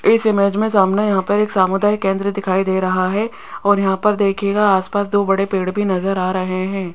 इस इमेज में सामने यहां पर एक सामुदायिक केंद्र दिखाई दे रहा है और यहां पर देखिएगा आसपास दो बड़े पेड़ भी नजर आ रहे हैं।